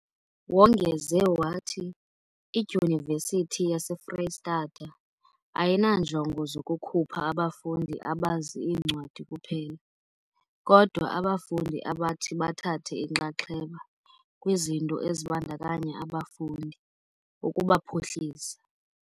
Wongeze wathi, iDyunivesithi yase Freystata ayinanjongo zokukhupha abafundi abazi iincwadi kuphela, kodwa abafundi abathi bathathe inxaxheba kwizinto ezibandakanya abafundi, ukubaphuhlisa.